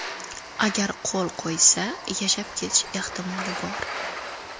Agar qo‘l qo‘ysa, yashab ketish ehtimoli bor.